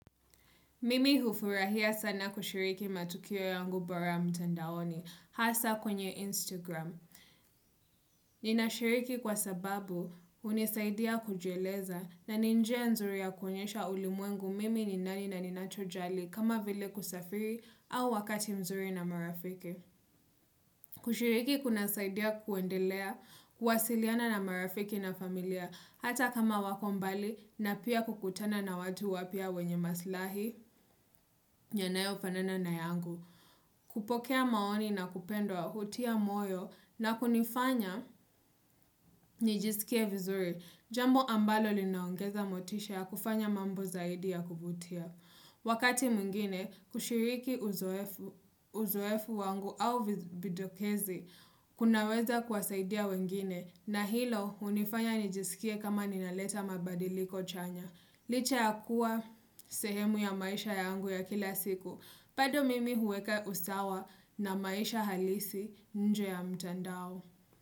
Mimi hufurahia sana kushiriki matukio yangu bora mtandaoni, hasa kwenye Instagram. Ninashiriki kwa sababu hunisaidia kujieleza na ni njia nzuri ya kuonyesha ulimwengu mimi ni nani na ninachojali kama vile kusafiri au wakati mzuri na marafiki. Kushiriki kunasaidia kuendelea, kuwasiliana na marafiki na familia hata kama wako mbali na pia kukutana na watu wapya wenye maslahi. Yanayo fanana na yangu. Kupokea maoni na kupendwa hutia moyo na kunifanya nijisikie vizuri. Jambo ambalo linaongeza motisha ya kufanya mambo zaidi ya kuvutia. Wakati mwingine kushiriki uzoefu wangu au vidokezi kunaweza kuwasaidia wengine na hilo hunifanya nijisikie kama ninaleta mabadiliko chanya. Licha ya kuwa sehemu ya maisha yangu ya kila siku bado mimi huweka usawa na maisha halisi nje ya mtandao.